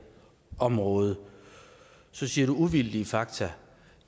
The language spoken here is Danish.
område så siger du uvildige fakta